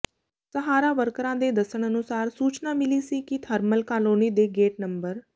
ਸਹਾਰਾ ਵਰਕਰਾਂ ਦੇ ਦੱਸਣ ਅਨੁਸਾਰ ਸੂਚਨਾ ਮਿਲੀ ਸੀ ਕਿ ਥਰਮਲ ਕਾਲੋਨੀ ਦੇ ਗੇਟ ਨੰਬਰ